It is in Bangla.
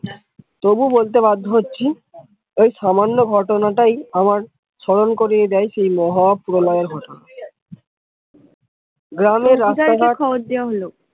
তবু বলতে বাধ্য হচ্ছি, এই সামান্য ঘটনা তাই আমার স্বরণ করিয়ে দেয় সেই মহা প্রলয়ের কথা গ্রামের রাস্তাঘাট,